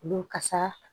Olu kasa